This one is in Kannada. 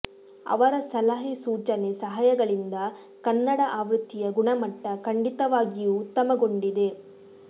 ಅವರ ಸಲಹೆ ಸೂಚನೆ ಸಹಾಯಗಳಿಂದ ಕನ್ನಡ ಆವೃತ್ತಿಯ ಗುಣಮಟ್ಟ ಖಂಡಿತವಾಗಿಯೂ ಉತ್ತಮಗೊಂಡಿದೆ